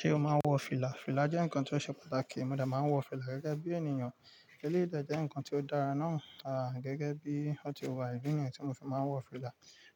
Ṣé o máa ń wọ fìlà? Fìlà jẹ́ ǹkan tó ṣe pàtàkì, mo dẹ̀ máa ń wọ fìlà gẹ́gẹ́ bí ènìyàn. Eléyìí dẹ̀ jẹ́ ǹkan tí ó dára náà, à gẹ́gẹ́ bí o ti wà, ìdí nìyẹn tí mo fi máa ń wọ fìlà.